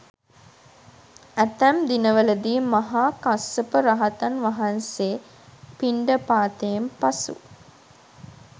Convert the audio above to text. ඇතැම් දිනවලදී මහා කස්සප රහතන් වහන්සේ පිණ්ඩපාතයෙන් පසු